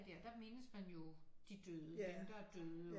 Der der mindes man jo de døde dem der er døde